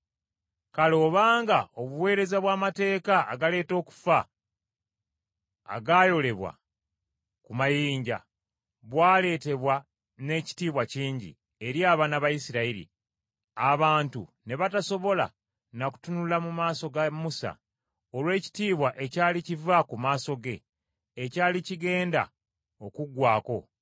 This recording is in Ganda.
Kale obanga obuweereza bw’amateeka agaleeta okufa agaayolebwa ku mayinja bwaleetebwa n’ekitiibwa kingi, eri abaana ba Isirayiri, abantu ne batasobola na kutunula mu maaso ga Musa, olw’ekitiibwa ekyali kiva ku maaso ge, ekyali kigenda okuggwaako,